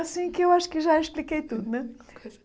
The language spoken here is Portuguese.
Assim que eu acho que já expliquei tudo, né?